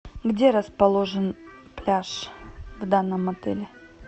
где расположен пляж в данном отеле